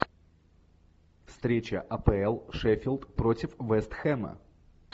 встреча апл шеффилд против вест хэма